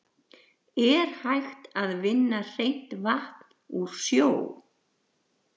Er hægt að vinna hreint vatn úr sjó?